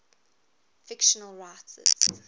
fictional writers